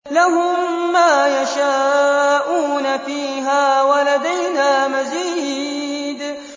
لَهُم مَّا يَشَاءُونَ فِيهَا وَلَدَيْنَا مَزِيدٌ